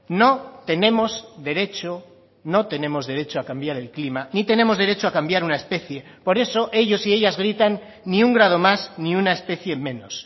no tenemos derecho no tenemos derecho a cambiar el clima ni tenemos derecho a cambiar una especie por eso ellos y ellas gritan ni un grado más ni una especie menos